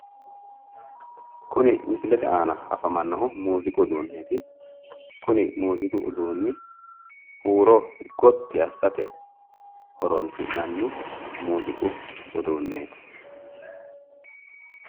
Kuni misilete aana afamannohu muuziiqu uduunneeti kuni muuziiqu uduunni huuro gotti assate horoonsi'nanni muuziiqu uduunneeti.